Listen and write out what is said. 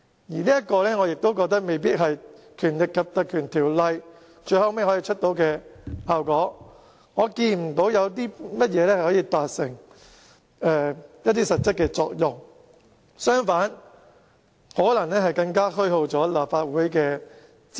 而我認為，這未必是《立法會條例》最後可以產生的效果，我看不到專責委員會可以達致甚麼實質作用；相反，更可能會虛耗立法會的資源。